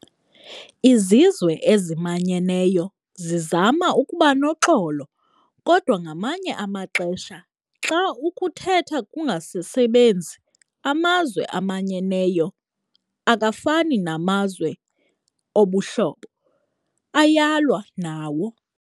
Izizwe ezimanyeneyo zizama ukubanoxolo, kodwa ngamanye amaxesha xa ukuthetha kungasasebenzi, amazwe amanyeneyo, akafani namazwe obuhlobo, ayalwa nawo.